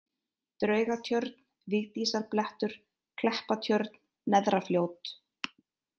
Draugatjörn, Vigdísarblettur, Kleppatjörn, Neðrafljót